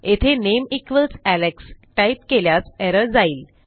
येथे name equals Alex type केल्यास error जाईल